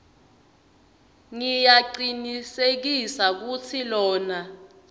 ngiyacinisekisa kutsi lona